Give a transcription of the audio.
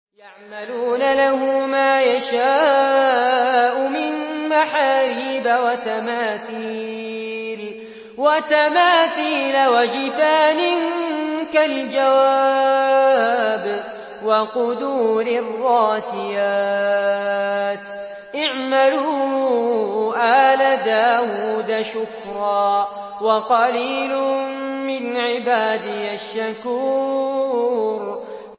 يَعْمَلُونَ لَهُ مَا يَشَاءُ مِن مَّحَارِيبَ وَتَمَاثِيلَ وَجِفَانٍ كَالْجَوَابِ وَقُدُورٍ رَّاسِيَاتٍ ۚ اعْمَلُوا آلَ دَاوُودَ شُكْرًا ۚ وَقَلِيلٌ مِّنْ عِبَادِيَ الشَّكُورُ